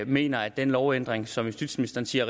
mener at den lovændring som justitsministeren siger